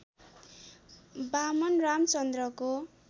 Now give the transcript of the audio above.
Vaman रामचन्द्रको